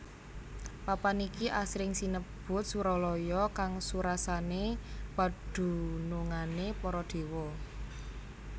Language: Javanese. Papan iki asring sinebut Suralaya kang surasane padunungane para déwa